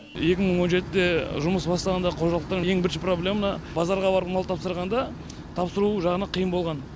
екі мың он жетіде жұмыс бастағанда қожалықтың ең бірінші проблема базарға барып мал тапсырғанда тапсыру жағынан қиын болған